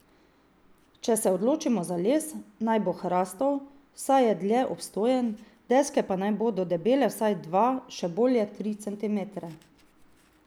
Če se odločimo za les, naj bo hrastov, saj je dlje obstojen, deske pa naj bodo debele vsaj dva, še bolje tri centimetre.